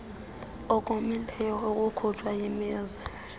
okomileyo okukhutshwa yimizi